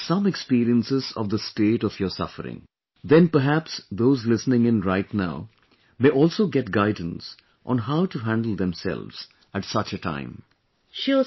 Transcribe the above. That you share some experiences of the state of your suffering ... then, perhaps those listening in right now may also get guidance on how to handle themselves at such a time